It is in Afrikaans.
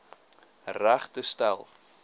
reg te stel